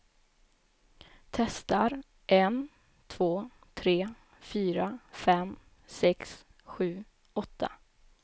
Testar en två tre fyra fem sex sju åtta.